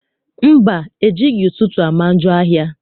Mba, ejighị ụtụtụ ama njọ ahịa.